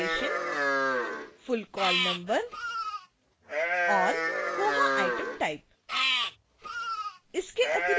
current location